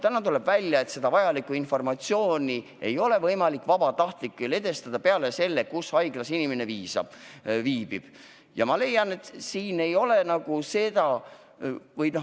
Täna, tuleb välja, ei ole seda vajalikku informatsiooni vabatahtlikel võimalik edastada peale selle, et öelda, kus haiglas inimene viibib.